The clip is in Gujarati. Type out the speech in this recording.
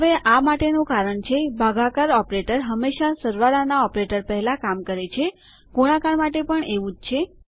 હવેઆ માટેનું કારણ છે ભાગાકાર ઓપરેટર હંમેશા સરવાળાના ઓપરેટર પહેલાં કામ કરે છેગુણાકાર માટે પણ એવું જ છે